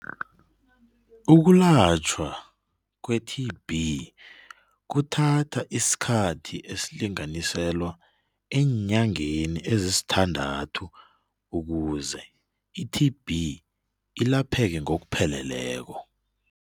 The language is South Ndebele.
Ukulatjhwa kwe-T_B kuthatha isikhathi esilinganiselwa eenyangeni ezisithandathu ukuze i-T_B ilapheke ngokupheleleko.